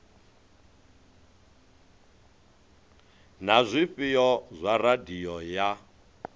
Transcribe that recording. na zwifhao zwa radio ya